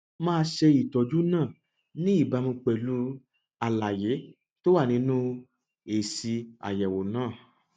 máa ṣe ìtọjú náà ní ìbámu pẹlú àlàyé tó wà nínú èsì àyẹwò náà